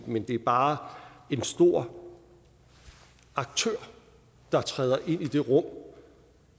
men det er bare en stor aktør der træder ind i det rum